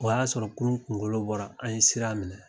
O y'a sɔrɔ kurun kunkolo bɔra an ye sira minɛ